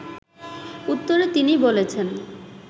উত্তরে তিনি বলেছেন